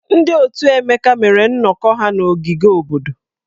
Ndị otù Ebuka mere nnọkọ ha n’ogige obodo.